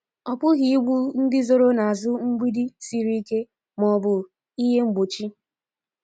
Ọ pụghị igbu ndị zoro n’azụ mgbidi siri ike ma ọ bụ n'ihe mgbochi.